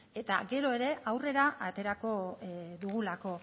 eta gero ere aurrera aterako dugulako